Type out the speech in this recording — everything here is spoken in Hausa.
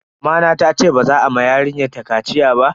Mamana tace ba za a ma yarinyar ta kaciya ba.